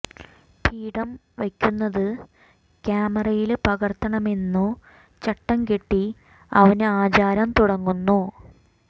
പിണ്ഡം വയ്ക്കുന്നതു കാമറയില് പകര്ത്തണമെന്നു ചട്ടം കെട്ടി അവന് ആചാരം തുടങ്ങുന്നു